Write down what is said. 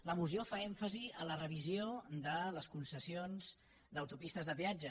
la moció fa èmfasi en la revisió de les concessions d’autopistes de peatge